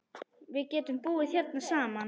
Við getum búið hérna saman.